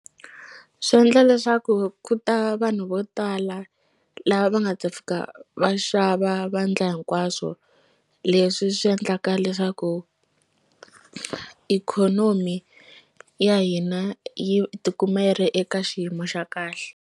Swi endla leswaku loko ku ta vanhu vo tala lava va nga ta fika va xava vandla hinkwaswo leswi swi endlaka leswaku ikhonomi ya hina yi tikuma yi ri eka xiyimo xa kahle.